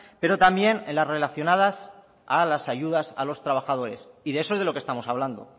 pero también en las relacionadas en las ayudas a los trabajadores y de eso es de lo que estamos hablando